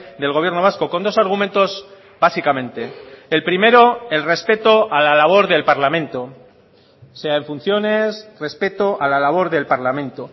del gobierno vasco con dos argumentos básicamente el primero el respeto a la labor del parlamento sea en funciones respeto a la labor del parlamento